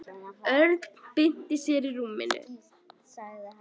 Örn bylti sér í rúminu.